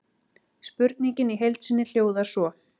Spurningin í heild sinni hljóðar svo: